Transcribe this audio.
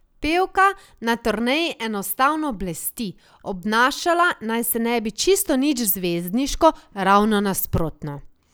Pevka na turneji enostavno blesti, obnašala naj se ne bi čisto nič zvezdniško, ravno nasprotno.